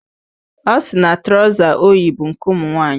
Ọ sị na trọza o yi bụ nke ụmụnwaanyị.